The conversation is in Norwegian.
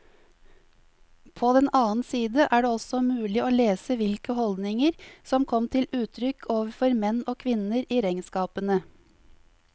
På den annen side er det også mulig å lese hvilke holdninger som kom til uttrykk overfor menn og kvinner i regnskapene.